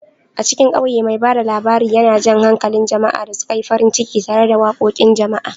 A cikin ƙauye, mai ba da labari yana jan hankalin jama'a da suka yi farin ciki tare da waƙoƙin jama'a.